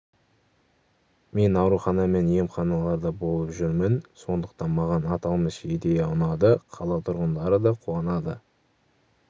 мен аурухана мен емханаларда болып жүрмін сондықтан маған аталмыш идея ұнады қала тұрғындары да қуанады